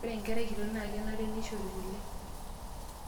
Ore enkerai kitok naa kenare neishori kule.